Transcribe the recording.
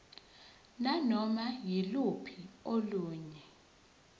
nanoma yiluphi olunye